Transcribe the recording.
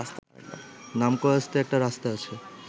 নামকাওয়াস্তে একটা রাস্তা আছে